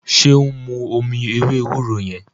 ṣe o n mú omí ewé ewúro yen?